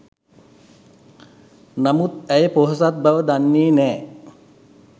නමුත් ඇය පොහොසත් බව දන්නේ නෑ